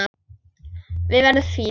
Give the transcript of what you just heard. Við verðum fínir.